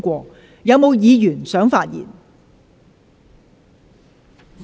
是否有議員想發言？